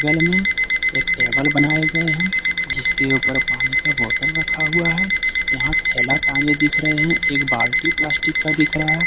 गल में एक टेबल बनाए गए हैं जिसके ऊपर पानी का बोतल रखा हुआ है यहां थैला टांगे दिख रहे हैं एक बाल्टी प्लास्टिक का दिख रहा है।